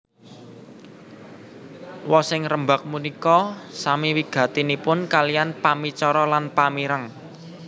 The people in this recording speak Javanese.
Wosing rembag punika sami wigatinipun kaliyan pamicara lan pamireng